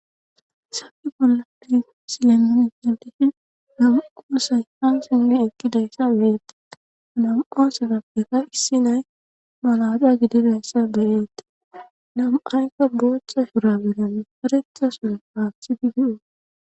sabi bolladi silennan itentifi namu qoosay ha sinnu ekkidayssa beetta nm7o sefappeka issi nay malada gididayssa beyeetta nam7aykka boochcha shura belee faretha sun paathidi di7o